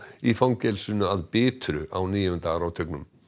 í fangelsinu að Bitru á níunda áratugnum